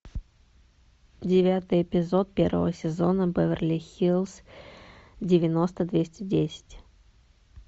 девятый эпизод первого сезона беверли хиллз девяносто двести десять